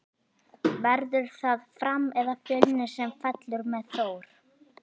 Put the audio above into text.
Verður það Fram eða Fjölnir sem fellur með Þór?